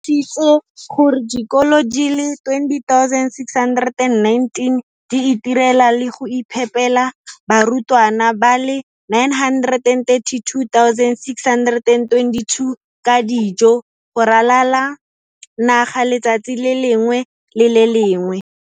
Thiso gore dikolo di le 20 619 di itirela le go iphepela barutwana ba le 9 32 622 ka dijo go ralala naga letsatsi le lengwe le le lengwe.